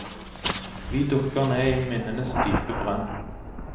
Vi dukker ned i minnenes dype brønn.